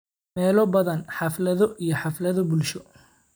Meelo badan, xaflado iyo xaflado bulsho.